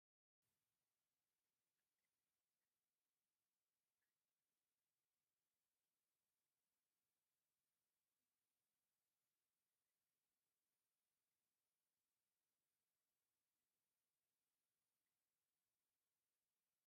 እዚ ኣብ ቀጠልያ ሳዕሪ ደው ኢላ ዘላ ጻዕዳ በጊዕ የርኢ። እታ በጊዕ ጥዕና ዘለዋ ኮይና ንቕድሚት ጥራይ እትጥምት ትመስል። ጽባቐ ተፈጥሮ ዘርኢ ናይ ሰላምን ምዝንጋዕን ኩነታት እዩ።